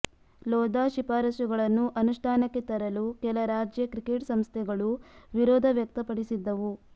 ಲೋಧಾ ಶಿಫಾರಸುಗಳನ್ನು ಅನುಷ್ಠಾನಕ್ಕೆ ತರಲು ಕೆಲ ರಾಜ್ಯ ಕ್ರಿಕೆಟ್ ಸಂಸ್ಥೆಗಳೂ ವಿರೋಧ ವ್ಯಕ್ತಪಡಿಸಿದ್ದವು